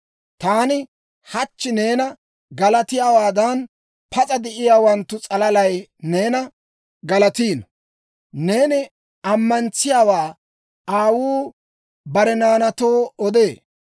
Taani hachchi neena galatiyaawaadan, pas'a de'iyaawanttu s'alalatuu neena galatiino; neeni ammantsiyaawaa aawuu bare naanaatoo odee.